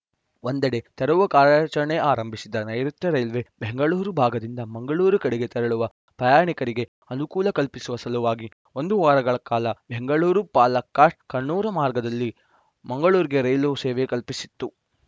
ಒಂದೆಡೆ ತೆರವು ಕಾರ್ಯಾಚರಣೆ ಆರಂಭಿಸಿದ್ದ ನೈಋುತ್ಯ ರೈಲ್ವೆ ಬೆಂಗಳೂರ ಭಾಗದಿಂದ ಮಂಗಳೂರು ಕಡೆಗೆ ತೆರಳುವ ಪ್ರಯಾಣಿಕರಿಗೆ ಅನುಕೂಲ ಕಲ್ಪಿಸುವ ಸಲುವಾಗಿ ಒಂದು ವಾರಗಳ ಕಾಲ ಬೆಂಗಳೂರುಪಾಲಕ್ಕಾಡ್‌ಕಣ್ಣೂರು ಮಾರ್ಗದಲ್ಲಿ ಮಂಗಳೂರಿಗೆ ರೈಲು ಸೇವೆ ಕಲ್ಪಿಸಿತ್ತು